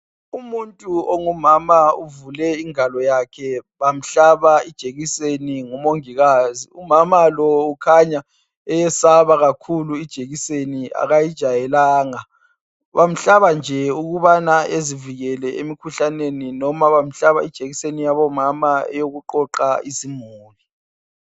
Umuntu ongumama uvule ingalo yakhe bamhlaba ijekiseni ngumongikazi umama lo ukhanya eyesaba kakhulu ijekiseni kayijwayelanga bamhlaba nje ukubana ezivikele emikhuhlaneni loba bamhlaba ijekiseni yabomama eyokuqoqa izimuli.